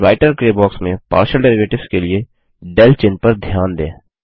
writer grey box में partial derivatives के लिए del चिन्ह पर ध्यान दें